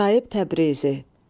Sahib Təbrizi.